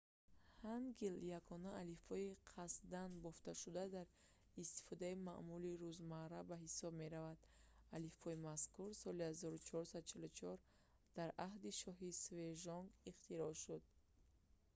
ҳангил ягона алифбои қасдан бофташуда дар истифодаи маъмули рӯзмарра ба ҳисоб меравад. алифбои мазкур соли 1444 дар аҳди шоҳи сежонг 1418-1450 ихтироъ шуд